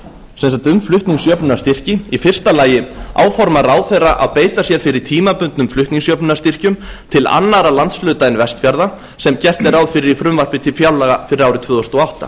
sem sagt um flutningsjöfnunarstyrki fyrstu áformar ráðherra að beita sér fyrir tímabundnum flutningsjöfnunarstyrkjum til annarra landshluta en vestfjarða sem gert er ráð fyrir í frumvarpi til fjárlaga fyrir árið tvö þúsund og átta